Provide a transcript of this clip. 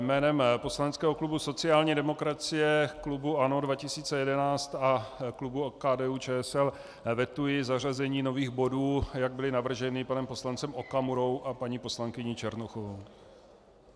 Jménem poslaneckého klubu sociální demokracie, klubu ANO 2011 a klubu KDU-ČSL vetuji zařazení nových bodů, jak byly navržena panem poslancem Okamurou a paní poslankyní Černochovou.